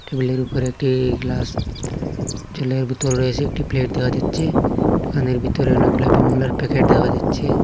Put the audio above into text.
টেবিলের উপরে একটি গ্লাস জলের বোতল রয়েছে একটি প্লেট দেখা যাচ্ছে দোকানের ভিতরে অনেকগুলি বিমলের প্যাকেট দেখা যাচ্ছে।